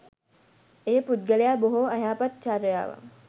එය පුද්ගලයා බොහෝ අයහපත් චර්යාවන්,